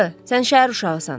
Sən şəhər uşağısan.